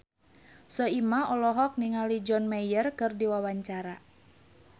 Soimah olohok ningali John Mayer keur diwawancara